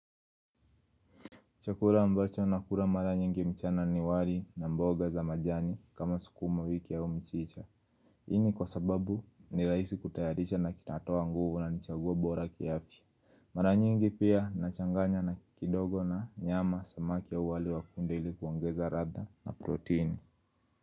Chakula ambacho na kula mara nyingi mchana ni wali na mboga za majani kama sukuma wiki au michicha. Hii ni kwa sababu ni rahisi kutayarisha na kinatoa nguvu na nichagua bora kiafya. Mara nyingi pia nachanganya na kidogo na nyama samaki ya wali wa kunde ili kuongeza ladha na proteini.